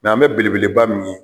Nk'an bɛ belebeleba min ye.